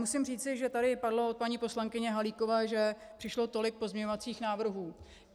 Musím říci, že tady padlo od paní poslankyně Halíkové, že přišlo tolik pozměňovacích návrhů.